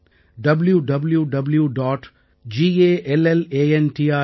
www